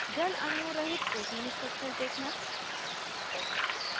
* जल अणुओं रहित protein structure देखना